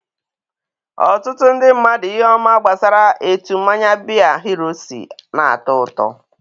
Ọtụtụ ndị mmadụ ihe ọma gbasara etu mmanya biya hero si na-atọ ụtọ.